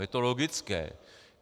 Je to logické.